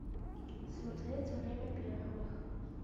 смотреть время первых